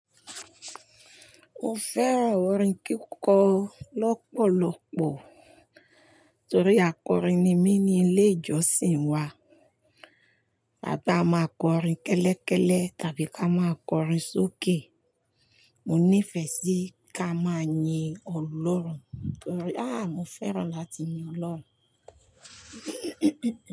Mo fẹ́ràn orin kíkọ lọ́pọ̀lọ́pọ̀ torí akọrin ni mí ní ilé ìjọsìn wa. A bá má kọrin kẹ́lẹ́ kẹ́lẹ́ tàbí ka má kọrin sókè. Mo nífẹ̀ẹ́ sí ká máa yin Ọlọ́run torí, mo fẹ́ràn láti yin Ọlọ́run.